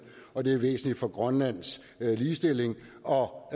og det er væsentligt for grønlands ligestilling og